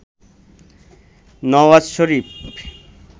Nawaz Sharif